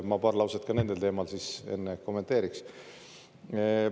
Ma paari lausega neid teemasid siis enne kommenteeriks.